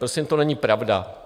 Prosím, to není pravda.